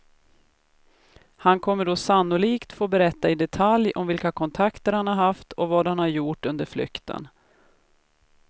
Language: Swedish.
Han kommer då sannolikt få berätta i detalj om vilka kontakter han har haft och vad han har gjort under flykten.